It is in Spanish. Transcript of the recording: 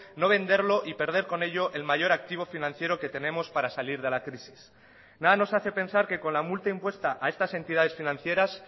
no venderlo y perder con ello el mayor activo financiero que tenemos para salir de la crisis nada nos hace pensar que con la multa impuesta a estas entidades financieras